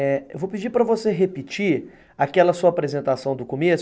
Eu vou pedir para você repetir aquela sua apresentação do começo.